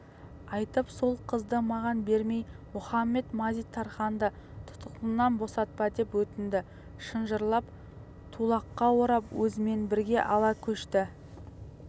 айтып сол қызды маған бермей мұхамед-мазит-тарханды тұтқыннан босатпа деп өтінді шынжырлап тулаққа орап өзімен бірге ала көшті